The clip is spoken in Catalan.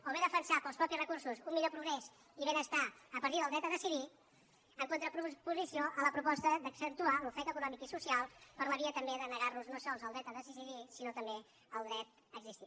o bé defensar pels propis recursos un millor progrés i benestar a partir del dret a decidir en contraposició a la proposta d’accentuar l’ofec econòmic i social per la via també de negar nos no sols el dret a decidir sinó també el dret a existir